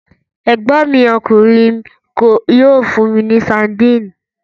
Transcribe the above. Ẹ̀gbọ́n mi ọkùnrin yóò fún mi ní sadínì.